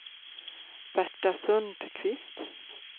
Berta Sundqvist